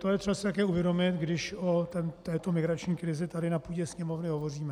To je třeba si také uvědomit, když o této migrační krizi tady na půdě Sněmovny hovoříme.